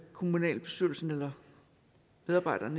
kommunalbestyrelsen eller medarbejderen